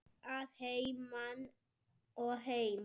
Að heiman og heim.